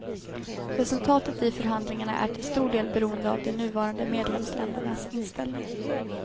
Resultatet i förhandlingarna är till stor del beroende av de nuvarande medlemsländernas inställning.